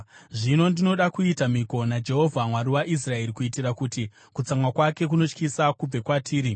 Zvino ndinoda kuita mhiko naJehovha, Mwari waIsraeri; kuitira kuti kutsamwa kwake kunotyisa kubve kwatiri.